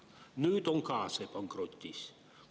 Nüüd on ka see pankrotis.